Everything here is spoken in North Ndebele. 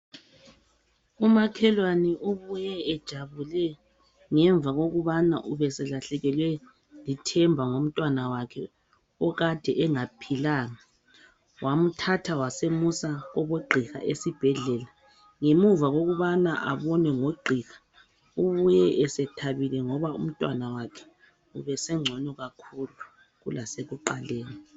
Umakhelwane ubuye ejabule ngemva kokubana ubeselahlekelwe lithemba ngomntanakhe okade engaphilanga ,wamthatha wasemusa kubo gqiha esibhedlela ,ngemuva kokubana abonwe ngo gqiha ubuye sethabile ngoba u mtwana wakhe ubesengcono kakhulu kulasekiqaleni